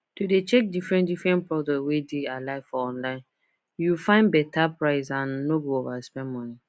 to dey check differentdifferent product wey dey alike for online you find better price and nor go overspend money